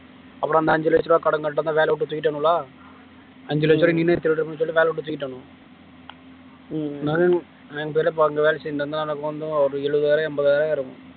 அப்புறம் அந்த அஞ்சு லட்ச ரூபாய் கடன் கட்டுனதை வேலையை விட்டு தூக்கிட்டாங்களா அஞ்சு லட்சம் வரைக்கும் நின்னு திருடுறோம்ன்னு சொல்லி வேலையை விட்டு தூக்கிட்டாங்க எங்க பெரிப்பா அங்க வேலை செஞ்சுட்டு இருந்தோம் எனக்கு வந்து ஒரு எழுபதாயிரம் எண்பதாயிரம் இருக்கும்